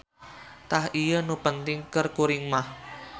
Tah ieu nu penting keur kuring mah.